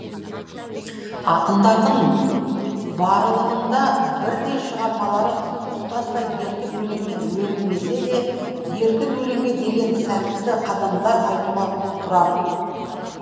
ақындардың барылығында бірдей шығармалары тұтастай еркін өлеңмен өрілмесе де еркін өлеңге деген сәтті қадамдар айтуға тұрарлық